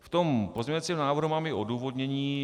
V tom pozměňovacím návrhu mám i odůvodnění.